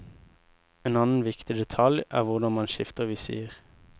En annen viktig detalj er hvordan man skifter visir.